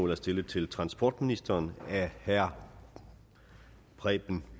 er stillet til transportministeren af herre preben